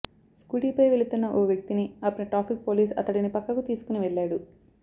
scooty పై వెళుతున్న ఓ వ్యక్తిని ఆపిన ట్రాఫిక్ పోలీస్ అతడిని పక్కకు తీసుకుని వెళ్ళాడు